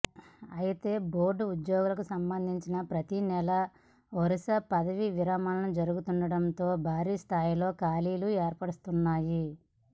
అయితే బోర్డు ఉద్యోగులకు సంబంధించి ప్రతినెల వరుస పదవీ విరమణలు జరుగుతుండటంతో భారీ స్ధాయిలో ఖాళీలు ఏర్పడుతున్నాయి